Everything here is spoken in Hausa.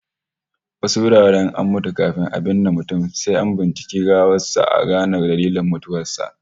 Wasu wuraren in an mutu, kafin a binne mutum sai an binciki gawar sa a gane dalilin mutuwar